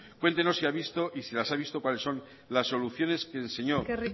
cuéntenos si ha visto y si las ha visto cuáles son las soluciones que el señor de